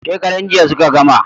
Shekaran jiya suka gama